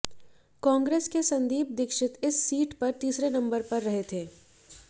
कांग्रेस के संदीप दीक्षित इस सीट पर तीसरे नंबर पर रहे थे